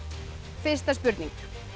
fyrsta spurning